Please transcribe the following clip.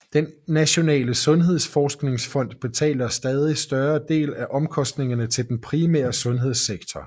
Den nationale sundhedsforsikringsfond betaler en stadigt større del af omkostningerne til den primære sundhedssektor